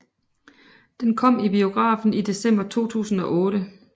Den kom i biografen i december 2008